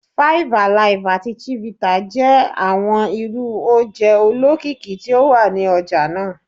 Five Alive ati Chivita jẹ awọn irú oje olokiki ti o wa ni ọja naa